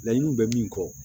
Laɲiniw bɛ min kɔ